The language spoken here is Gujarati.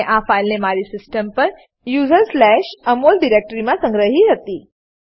મેં આ ફાઈલને મારી સીસ્ટમ પર usersAmol ડિરેક્ટરીમાં સંગ્રહી હતી